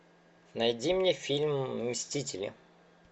найди мне фильм мстители